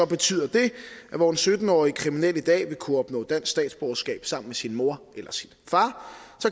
betyder det at hvor en sytten årig kriminel i dag vil kunne opnå dansk statsborgerskab sammen med sin mor eller sin far